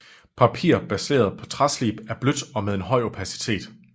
Papir baseret på træslib er blødt og med en høj opacitet